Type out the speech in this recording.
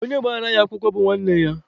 Onye gbara ya akwụkwọ bụ nwanne ya.